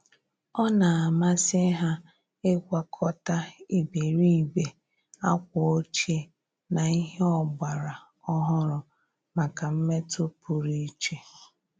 Ọ́ nà-àmàsị́ há ị́gwakọta ìbèrìbè ákwà ọ́chíè na ìhè ọ́gbàrà ọ́hụ́rụ́ màkà mmètụ́ pụrụ iche.